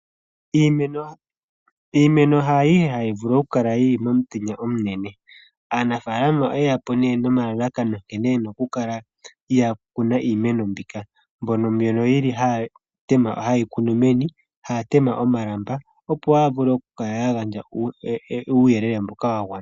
Iimeno haayihe hayi vulu oku kala yili momutenya omunene. Aanafaalama oyeya po nee nomalalakano nkene yena oku kala ya kuna iimeno mbika, mbono haye yi kunu meni haa tema omalamba opo ga vule oku kala ga gandja uuyelele mboka wa gwana.